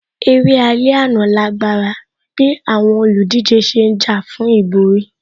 Eré alẹ́ àná lágbára bíi àwọn olùdíje ṣe ń jà fún ìborí